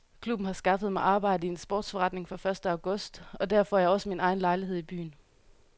Klubben har skaffet mig arbejde i en sportsforretning fra første august og der får jeg også min egen lejlighed i byen.